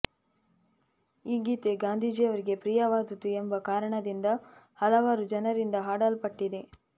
ಈ ಗೀತೆ ಗಾಂಧಿಜಿಯವರಿಗೆ ಪ್ರಿಯವಾದುದು ಎಂಬ ಕಾರಣದಿಂದ ಹಲವಾರು ಜನರಿಂದ ಹಾಡಲ್ಪಟ್ಟಿದೆ